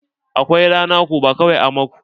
Akwai ranaku bakwai a mako.